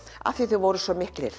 af því að þau voru svo miklir